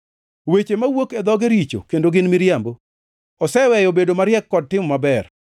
Weche mawuok e dhoge richo kendo gin miriambo; oseweyo bedo mariek kod timo maber.